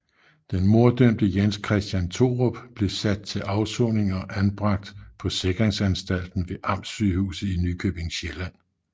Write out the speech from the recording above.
Den morddømte Jens Christian Thorup blev sat til afsoning og anbragt på Sikringsanstalten ved Amtssygehuset i Nykøbing Sjælland